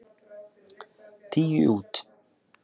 Tíu út.